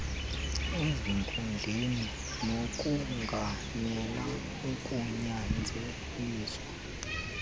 ezinkundleni nokongamela ukunyanzeliswa